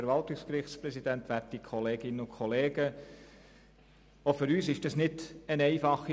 Auch für uns war die Debatte nicht einfach.